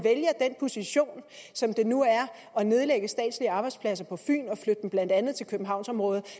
position som det nu er at nedlægge statslige arbejdspladser på fyn og flytte dem blandt andet til københavnsområdet